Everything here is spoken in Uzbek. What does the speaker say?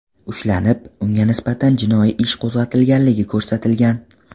ushlanib, unga nisbatan jinoyat ishi qo‘zg‘atilganligi ko‘rsatilgan.